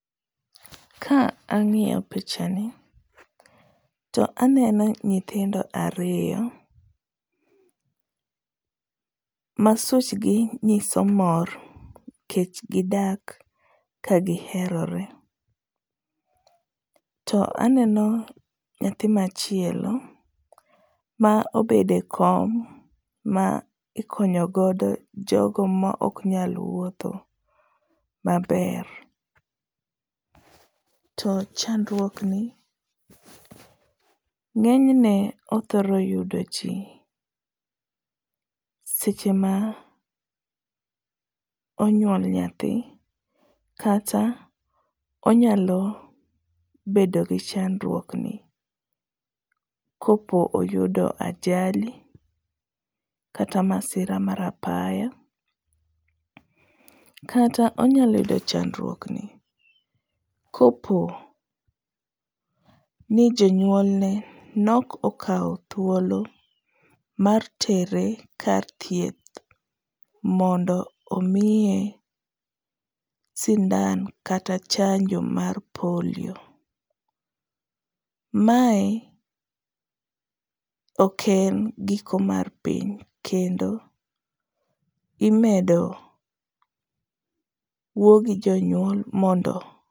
Ka ang'iyo pichani to aneno nyithindo ariyo ma suchgi nyiso mor nikech gidak ka giherore, to aneno nyathi machielo ma obedo e kom ma ikonyo godo jogo ma ok nyal wuotho maber. To chandruokni ng'enyne othoro yudoji seche ma onyuol nyathi kata onyalo bedo gi chandruokni kopo oyudo ajali kata masira mar apaya, kata onyalo yudo chandruokni koponi jonyuolne nok okawo thuolo mar tere karthieth mondo omiye sindan kata chanjo mar polio. Mae ok en giko mar piny kendo imedo wuo gi joyuol mondo .